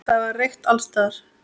Það var reykt alls staðar.